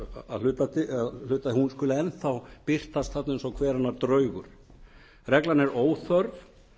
að hluta að hún skuli enn þá birtast þarna eins og hver annar draugur reglan er óþörf